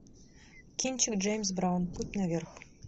кинчик джеймс браун путь наверх